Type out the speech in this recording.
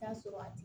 Taa sɔrɔ a